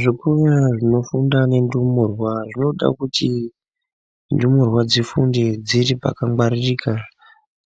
Zvikora zvinofunda nendumurwa zvinoda kuti ndumurwa dzifunde dziri pakangwaririka.